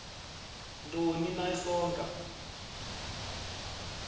ntoni na isonka